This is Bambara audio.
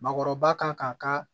Maakɔrɔba kan k'a ka